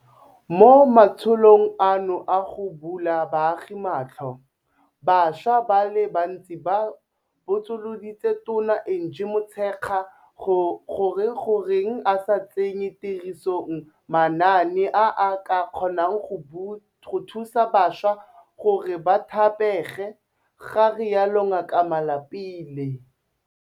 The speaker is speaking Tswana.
Mo matsholong ano a go bula baagi matlho, bašwa ba le bantsi ba botsoloditse Tona Angie Motshekga gore goreng a sa tsenye tirisong manaane a a ka kgonang go thusa bašwa gore ba thapege, ga rialo Ngaka Malapile.